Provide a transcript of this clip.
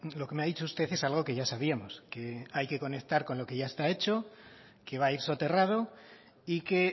lo que me ha dicho usted es algo que ya sabíamos que hay que conectar con lo que ya está hecho que va a ir soterrado y que